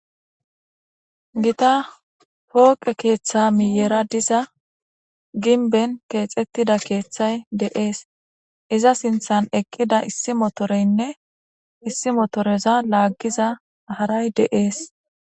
Gita pooqe keeththa miyera diza ginben keexettida keeththay deees iza sinthan eqqida issi motoreynne issi motoreza laaggiza haray deees.